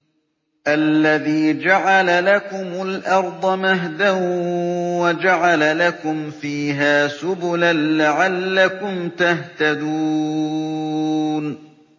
الَّذِي جَعَلَ لَكُمُ الْأَرْضَ مَهْدًا وَجَعَلَ لَكُمْ فِيهَا سُبُلًا لَّعَلَّكُمْ تَهْتَدُونَ